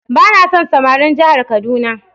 Ba na son samarin jihar kaduna.